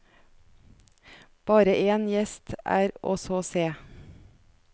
Bare en gjest er å så se.